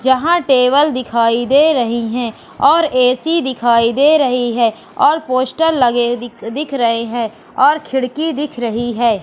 जहां टेबल दिखाई दे रही है और ए_सी दिखाई दे रही है और पोस्टर लगे दि दिख दिख रहे है और खिड़की दिख रही है।